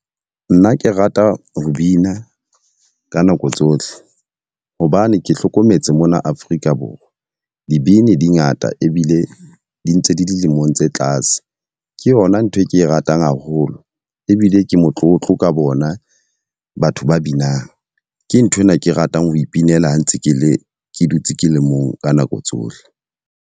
Nna ke rata ho bina ka nako tsohle. Hobane ke hlokometse mona Afrika Borwa, dibini di ngata ebile di ntse di dilemong tse tlase. Ke yona ntho e ke e ratang haholo, ebile ke motlotlo ka bona batho ba binang. Ke nthwena, ke ratang ho ipinela ha ntse ke le ke dutse ke le mong ka nako tsohle.